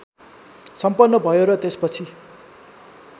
सम्पन्न भयो र त्यसपछि